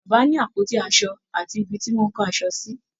Bàbá ni àpótí aṣo àti ibi tí wọ́n kó aṣọ sí.